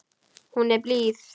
Hún er blíð.